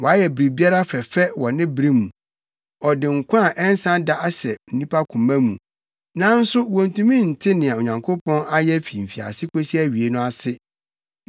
Wayɛ biribiara fɛfɛ wɔ ne bere mu. Ɔde nkwa a ɛnsa da ahyɛ nnipa koma mu, nanso wontumi nte nea Onyankopɔn ayɛ fi mfiase kosi awiei no ase.